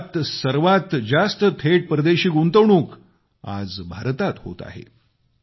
जगात सर्वात जास्त थेट परदेशी गुंतवणूक आज भारतात होत आहे